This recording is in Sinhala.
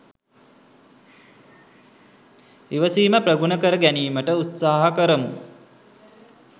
ඉවසීම ප්‍රගුණ කර ගැනීමට උත්සාහ කරමු.